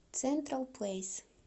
централ плэйс